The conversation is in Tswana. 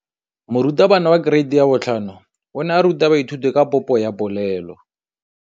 Moratabana wa kereiti ya 5 o ne a ruta baithuti ka popô ya polelô.